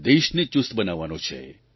દેશને ચુસ્ત બનાવવાનો છે